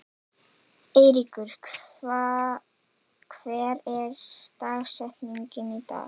Eyríkur, hver er dagsetningin í dag?